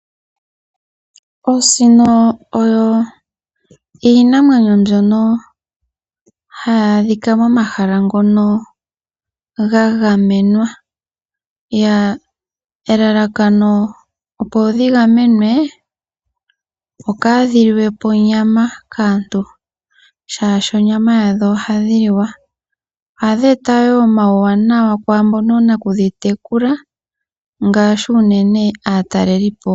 Osino oyo iinamwenyo mbyono hayi adhika momahala ngono ga gamenwa. Elalakano opo dhi gamenwe opo ka dhi liwepo onyama kaantu, shaashi onyama yadho ohayi liwa. Ohadhi eta woo omawu waanawa kwaambono oonaku dhi tekula ngaashi unene aatalelipo.